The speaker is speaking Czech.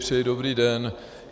Přeji dobrý den.